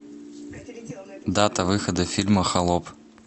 дата выхода фильма холоп